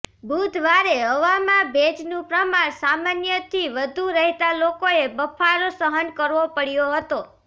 બુધવારે હવામાં ભેજનું પ્રમાણ સામાન્યથી વધુ રહેતા લોકોએ બફારો સહન કરવો પડ્યો હતો